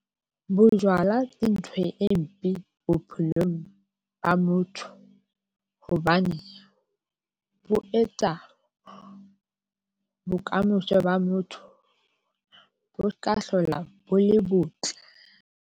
Bojwala ke ntho e mpe bophelong ba motho hobane bo etsa bokamoso ba motho bo se ka hlola bo le botle.